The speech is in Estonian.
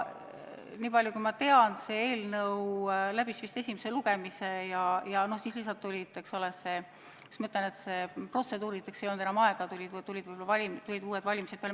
Nii palju kui ma tean, see eelnõu läbis vist esimese lugemise, aga, kuidas ma ütlen, protseduurideks ei olnud enam aega, sest tulid uued valimised peale.